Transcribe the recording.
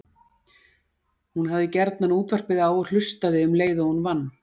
Hún hafði gjarnan útvarpið á og hlustaði um leið og hún vann.